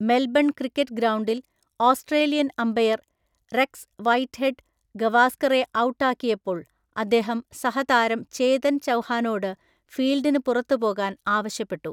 Melbourne cricket ഗ്രൗണ്ടിൽ Australian umpire Rex Whitehead ഗവാസ്കറെ out ആക്കിയപ്പോൾ അദ്ദേഹം സഹതാരം ചേതൻ ചൗഹാനോട് ഫീൽഡിന് പുറത്ത് പോകാൻ ആവശ്യപ്പെട്ടു.